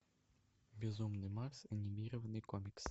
безумный макс анимированный комикс